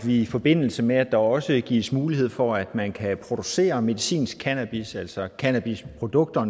i forbindelse med at der også gives mulighed for at man kan producere medicinsk cannabis altså cannabisprodukter og